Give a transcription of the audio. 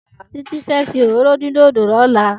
Titi fé fi óróró din dódó lòlá